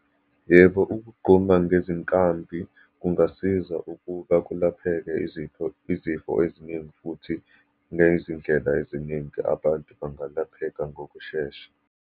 Yebo, ukugquma ngezinkambi kungasiza ukuba kulapheke izifo, izifo eziningi, futhi ngezindlela eziningi, abantu bangalapheka ngokushesha.